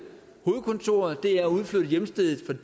hovedkontoret hjemstedet